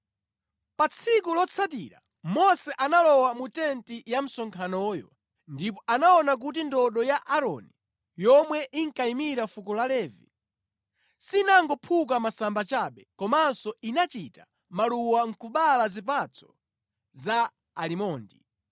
Pa tsiku lotsatira Mose analowa mu tenti ya msonkhanoyo ndipo anaona kuti ndodo ya Aaroni, yomwe inkayimira fuko la Levi, sinangophuka masamba chabe, komanso inachita maluwa nʼkubala zipatso za alimondi.